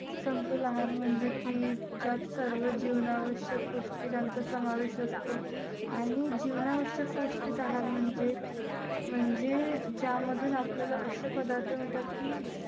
समतोल आहार म्हणजे की ज्यात सर्व जीवनावश्यक पौष्टिकांचा समावेश असतो. आणि जीवनावश्यक पौष्टिक आहार म्हणजे म्हणजे ज्यामधून आपल्याला असे पदार्थ मिळतात की,